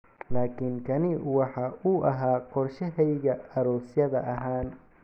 Laakin kani waxa uu ahaa qorshahayagii aroosyada ahaan.